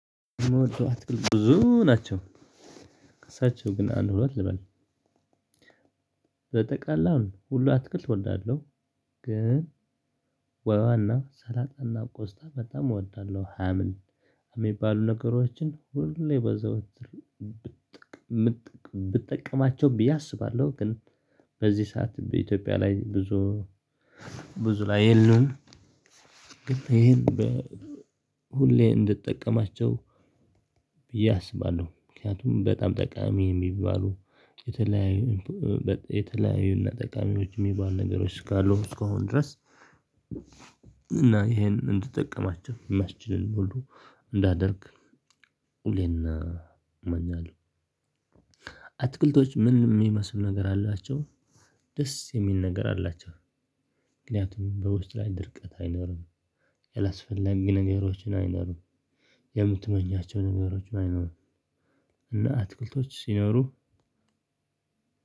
የምወደው አትክልት ብዙ ናቸው። ከሳቸው ግን አንድ ሁለት ልበል። በጠቃላው ሁሉ አትክልት እወዳለሁ። ግን ዋናው ሰላጣና ቆስጣ በጣም እወዳለሁ ሀምል የሚባሉ ነገሮችን ሁሌ በዘወትር። ብጠቀማቸው ብዬ አስባለሁ። ግን በዚህ ሰዓት በኢትዮጵያ ላይ ብዙ ብዙ ላይ የለውም። ግን ይሄን ሁሌ እንደጠቀማቸው ብዬ አስባለሁ። ምክንያቱም በጣም ጠቃሚ የሚባሉ የተለያዩ እና ጠቃሚዎች ሚባል ነገሮች ካሉት እስከከሆኑ ድረስ። እና ይሄንን እንድጠቀማቸው የሚያስችልን ሁሉ እንዳደርግ ሁሌን እመኛለሁ። ምንም የሚመስሉ ነገር አላቸው ደስ የሚል ነገር አላቸው። ምክንያቱም በውስጥ ላይ ድርቀት አይኖርም። ያላስፈላጊ ነገሮችን አይኖርም። የምትመኛቸው ነገሮችን አይኖሩም። እና አትክልቶች ሲኖሩ